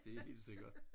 Det er helt sikkert